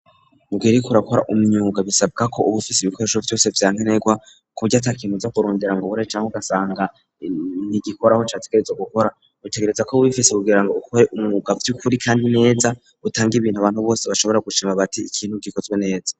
Mugihe uriko urakora umwuga, bisabwa ko ubufise ibikoresho vyose vyankenerwa, kuburyo atakintu uzakurondera ngo ubure canke ugasanga ntigikora aho categerezwa gukora, utegerezwa kuba ubifise kugira ngo ukore umwuga vy'ukuri, kandi neza utange ibintu abantu bose bashobora gushima bati ikintu gikozwe neza.